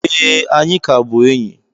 Ee, anyị ka bụ enyi